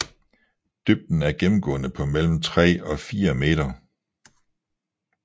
Dybden er gennemgående på mellem 3 og 4 meter